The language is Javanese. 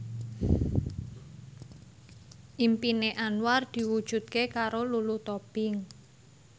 impine Anwar diwujudke karo Lulu Tobing